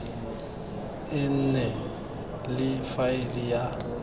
e nne le faele ya